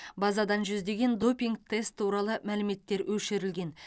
базадан жүздеген допинг тест туралы мәліметтер өшірілген